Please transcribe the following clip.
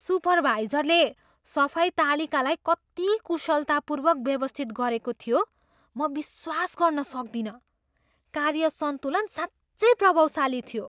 सुपरवाइजरले सफाई तालिकालाई कति कुशलतापूर्वक व्यवस्थित गरेको थियो म विश्वास गर्न सक्दिनँ! कार्य सन्तुलन साँच्चै प्रभावशाली थियो।